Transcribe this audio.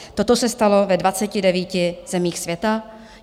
Toto se stalo ve 29 zemích světa.